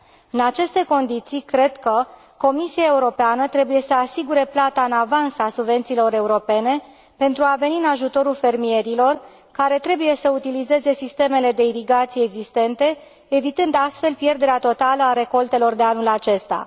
În aceste condiții, cred că Comisia Europeană trebuie să asigure plata în avans a subvențiilor europene pentru a veni în ajutorul fermierilor care trebuie să utilizeze sistemele de irigație existente, evitând astfel pierderea totală a recoltelor de anul acesta.